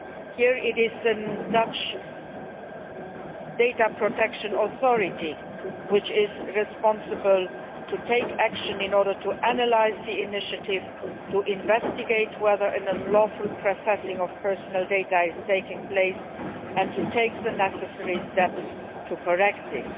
Here, it is the Dutch data protection authority which is responsible for taking action in order to analyse the initiative, to investigate whether an unlawful processing of personal data is taking place and to take the necessary steps to correct this.